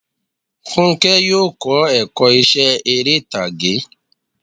Fúnkẹ́ yóò kọ́ ẹ̀kọ́ iṣẹ́ eré ìtàgé.